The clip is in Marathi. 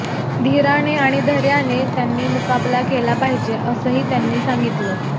धीराने आणि धैर्याने त्यांनी मुकाबला केला पाहिजे असंही त्यांनी सांगितलं